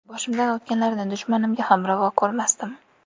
Boshimdan o‘tganlarini dushmanimga ham ravo ko‘rmasdim.